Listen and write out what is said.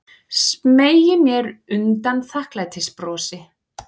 Smeygi mér undan þakklætisbrosi.